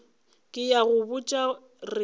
ke a go botša re